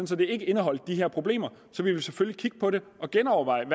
så det ikke indeholder de her problemer vil vi selvfølgelig kigge på det og genoverveje